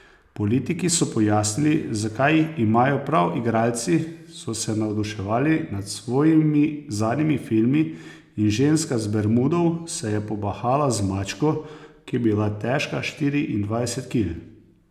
Politiki so pojasnili, zakaj imajo prav, igralci so se navduševali nad svojimi zadnjimi filmi in ženska z Bermudov se je pobahala z mačko, ki je bila težka štiriindvajset kil.